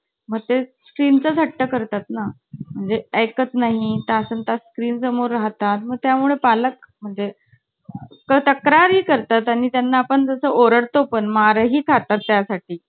पप्पा म्हंटले काय केलं? आणि ना मी असं पण नाही ही अभ्यासा डब्बू होते. अभ्यास तर चांगलं पप्पाना वाटलं की अभ्यासामुळे लाज वाटते. खूप लाडात गेलेले पप्पांसमोर, पप्पा पप्पा मी आहे ना, वर्गात आज काय केलं माहिती आहे?